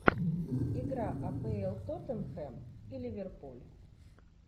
игра апл тоттенхэм и ливерпуль